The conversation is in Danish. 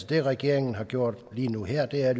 det regeringen har gjort lige nu og her er